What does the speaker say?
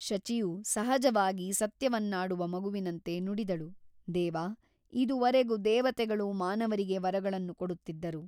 ಶಚಿಯು ಸಹಜವಾಗಿ ಸತ್ಯವನ್ನಾಡುವ ಮಗುವಿನಂತೆ ನುಡಿದಳು ದೇವ ಇದುವರೆಗೂ ದೇವತೆಗಳು ಮಾನವರಿಗೆ ವರಗಳನ್ನು ಕೊಡುತ್ತಿದ್ದರು.